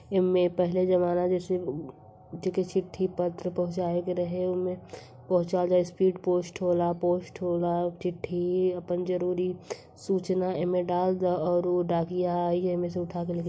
एमे पहिले जमाना जैसे उ जेके चिठी पत्र पहुंचाए के रहे ओमे पहुचाए वाला स्पीड पोस्ट होला पोस्ट होला चिट्ठी आपन जरुरी सुचना एमे डाल द और उ डाकिया आइ येमे से से उठा के लेके --